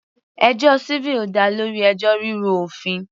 Ẹjọ́ civil dá lórí ẹjọ́ rírú òfin.